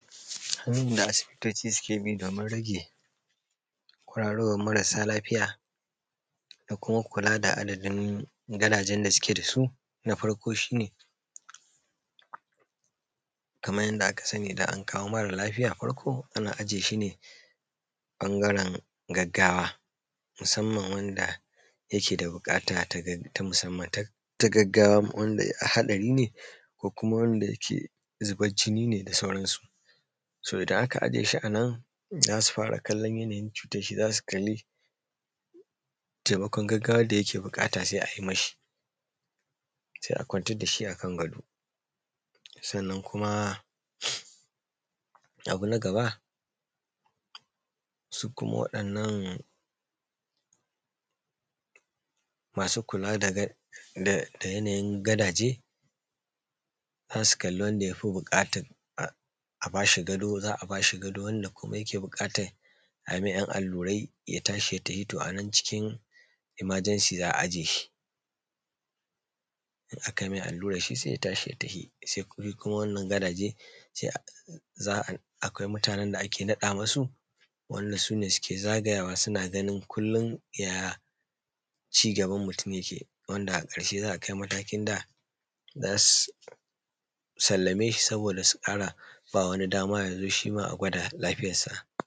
hanyan da asibitoci suke bi domin rage kwararowan marasa lafiya da kuma kula da adadin gadajen da suke dasu na farko shine kaman yanda aka sani idan an kawo mara lafiya farko ana aje shine ɓangaren gaggawa musamman wanda yake da buƙata ta [um} ta musamman ta ta gaggawa wanda haɗari ne ko wanda yake zuban jini ne da sauran su so idan aka aje shi anan zasu fara kallon yanayin cutarshi zasu kalli taimakon gaggawan da yake buƙata sai ayi mashi sai a kwantar da shi a kan gado sannan kuma abu na gaba su kuma waɗannan masu kula da um da yanayin gadaje zasu kalli wanda yafi buƙatan um a bashi gado za’a bashi gado wanda kuma ya ke buƙatan ai mai yan allurai ya tashi ya tafi to anan cikin [cs emergency za’a aje shi in akai mai alluran sai ya tashi ya tahi shi kuma wannan gadaje sai a um za ai akwai mutanen da ake naɗa masu wanda sune zagayawa suna ganin kullum ya cigaban mutum yake wanda akrashe za’a kai matakin da sallame shi saboda su ƙara ba wani damar ya zo shima a gwada lafiyar sa